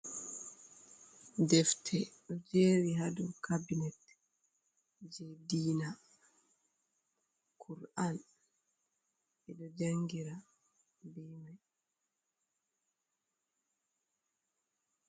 Defte ɗo jeri ha dow cabinet je diina kur’an ɓedo jangira be mai.